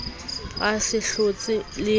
a se a hlotse e